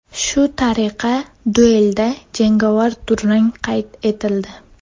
Shu tariqa duelda jangovar durang qayd etildi.